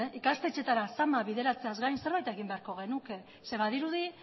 ikastetxeetara zama bideratzeaz gain zerbait egin beharko genuke zeren badirudi